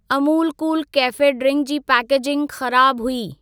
Amul cool cafe ड्रिंकु जी packaging ख़राब हुई।